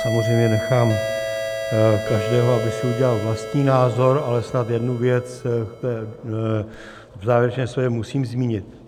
Samozřejmě nechám každého, aby si udělal vlastní názor, ale snad jednu věc v závěrečném slově musím zmínit.